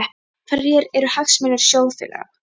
Hverjir eru hagsmunir sjóðfélaga?